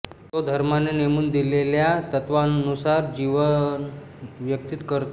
तो धर्माने नेमुन दिलेल्या तत्त्वांनुसार जीवन व्यतीत करतो